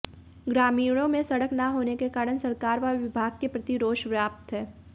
ग्रामीणों में सड़क न होने के कारण सरकार व विभाग के प्रति रोष व्याप्त है